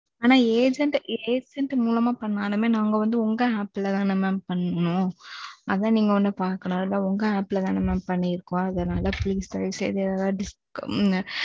ஆனான் agent agent மூலமா பண்ணாலும் நாங்க உங்க appல தானே mam பண்ணோம். அதான் நீங்க கொஞ்ச பாக்கணும் அது உங்க appல தானே mam பண்ணிருக்கோம் அதனாலே தான் please தயவு செய்து எதாவது.